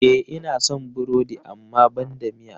E, ina son burodi amma banda miya.